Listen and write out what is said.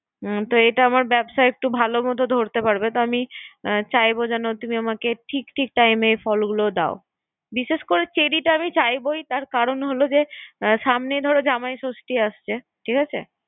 হুম এটা আমার ব্যবসায় একটু ভালো মতো ধরতে পারবে। তো আমি চাইবো যেন ঠিক ঠিক time ফলগুলো দাও। বিশেষ করে চেরী টা আমি চাইবো তার কারন হলো যে সামনে ধরো জামাই জষ্ঠি আসছে।